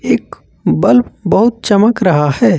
एक बल्ब बहुत चमक रहा है।